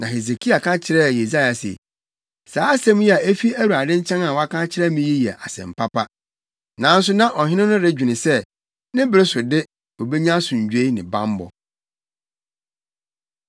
Na Hesekia ka kyerɛɛ Yesaia se, “Saa asɛm yi a efi Awurade nkyɛn a woaka akyerɛ me yi yɛ asɛm papa.” Nanso na ɔhene no redwene sɛ, ne bere so de, obenya asomdwoe ne bammɔ.